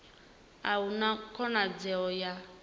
a hu na khonadzeo ya